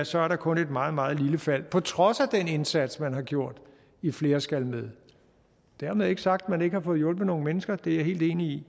så er der kun et meget meget lille fald på trods af den indsats man har gjort i flere skal med dermed ikke sagt at man ikke har fået hjulpet nogle mennesker det er jeg helt enig i